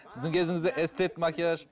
сіздің кезіңізде эстет макияж